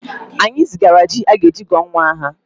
Anyị zigara ji a ga-eji gụọ nwa aha